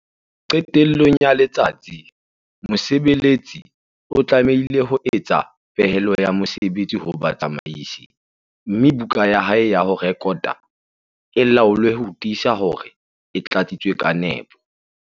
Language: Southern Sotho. Qetellong ya letsatsi, mosebeletsi A o tlamehile ho etsa pehelo ya mosebetsi ho batsamaisi, mme buka ya hae ya ho rekota e laolwe ho tiisa hore e tlatsitswe ka nepo.